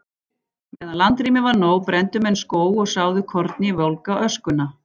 Meðan landrými var nóg brenndu menn skóg og sáðu korni í volga öskuna.